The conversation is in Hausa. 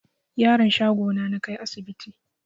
Yaron shago na nakai asibti